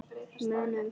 Munum þá.